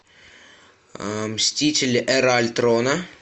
мстители эра альтрона